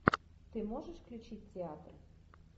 ты можешь включить театр